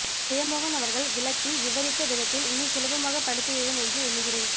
ஜெயமோகன் அவர்கள் விளக்கி விவரித்த விதத்தில் இனி சுலபமாகப் படித்துவிடுவேன் என்று எண்ணுகிறேன்